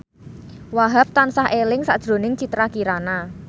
Wahhab tansah eling sakjroning Citra Kirana